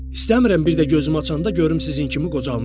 İstəmirəm bir də gözümü açanda görüm sizin kimi qocalmışam.